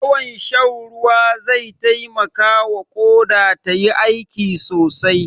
Yawan shan ruwa zai taimakawa Ƙoda tayi aiki sosai.